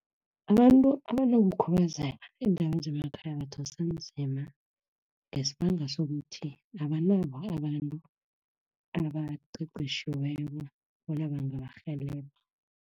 Abantu abanokukhubazeka eendaweni zemakhaya badosa nzima, ngesibanga sokuthi abanabo abantu abaqeqetjhiweko bona bangabarhelebha.